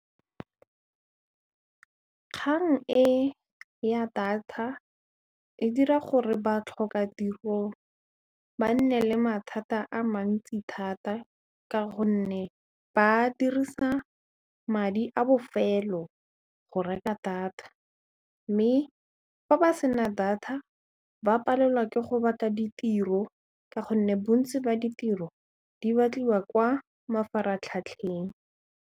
Kgang e ya data e dira gore batlhoka tiro ba nne le mathata a mantsi thata ka gonne ba dirisa madi a bofelo go reka data mme fa ba sena data ba palelwa ke go batla ditiro ka gonne bontsi ba ditiro di batliwa kwa mafaratlhatlheng.